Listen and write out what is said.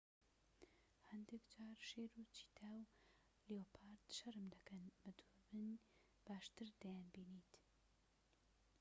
هەندێک جار شێر و چیتا و لێۆپارد شەرم دەکەن و بە دووربین باشتر دەیانبینیت